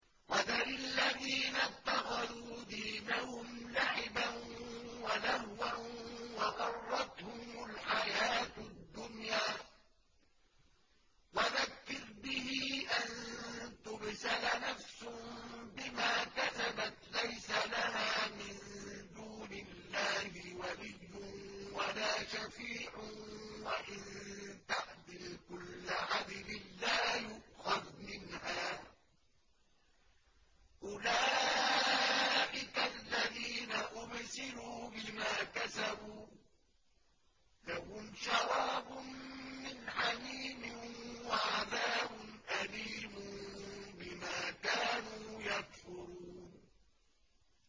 وَذَرِ الَّذِينَ اتَّخَذُوا دِينَهُمْ لَعِبًا وَلَهْوًا وَغَرَّتْهُمُ الْحَيَاةُ الدُّنْيَا ۚ وَذَكِّرْ بِهِ أَن تُبْسَلَ نَفْسٌ بِمَا كَسَبَتْ لَيْسَ لَهَا مِن دُونِ اللَّهِ وَلِيٌّ وَلَا شَفِيعٌ وَإِن تَعْدِلْ كُلَّ عَدْلٍ لَّا يُؤْخَذْ مِنْهَا ۗ أُولَٰئِكَ الَّذِينَ أُبْسِلُوا بِمَا كَسَبُوا ۖ لَهُمْ شَرَابٌ مِّنْ حَمِيمٍ وَعَذَابٌ أَلِيمٌ بِمَا كَانُوا يَكْفُرُونَ